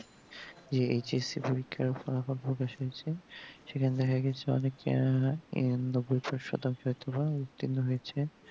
এ H S C পরীক্ষার ফলাফল প্রকাশ হয়েছে সেখানে দেখে গেছে অনেকে নব্বই পার শতাংশ ইত্তিফার উত্তিন্ন হয়েছে